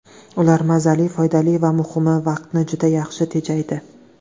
Ular mazali, foydali va muhimi vaqtni juda yaxshi tejaydi.